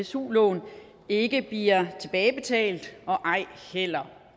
su lån ikke bliver tilbagebetalt og ej heller